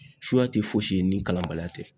Suya te foyi si ye ni kalanbaliya tɛ